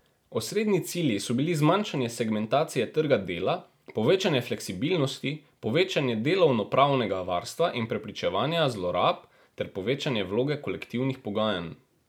Osrednji cilji so bili zmanjšanje segmentacije trga dela, povečanje fleksibilnosti, povečanje delovnopravnega varstva in preprečevanja zlorab ter povečanje vloge kolektivnih pogajanj.